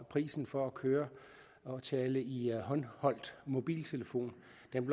prisen for at køre og tale i håndholdt mobiltelefon